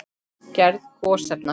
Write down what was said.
Gerð gosefna